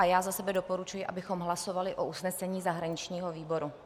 A já za sebe doporučuji, abychom hlasovali o usnesení zahraničního výboru.